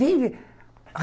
Vem, vem.